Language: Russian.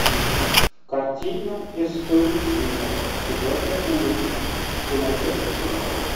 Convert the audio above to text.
картина истории свинок четвертая улица ты найдешь у себя